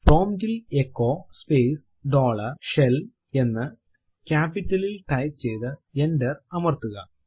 prompt ൽ echo space dollar shell എന്ന് ക്യാപ്പിറ്റലിൽ ടൈപ്പ് ചെയ്തു എന്റർ അമർത്തുക